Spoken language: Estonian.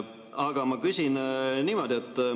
Aga ma küsin niimoodi.